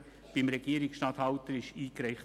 beim Regierungsstatthalter eingereicht.